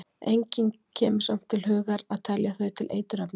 engum kemur samt til hugar að telja þau til eiturefna